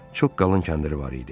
Çox qalın kəndiri var idi.